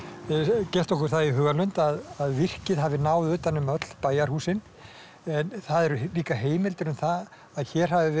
gert okkur það í hugarlund að virkið hafi náð utan um öll bæjarhúsin en það eru líka heimildir um það að hér hafi verið